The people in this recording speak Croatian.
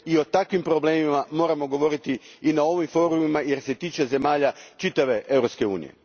I o takvim problemima moramo govoriti na ovim forumima jer se tiču zemalja čitave Europske unije.